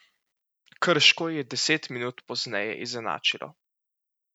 Krško je deset minut pozneje izenačilo.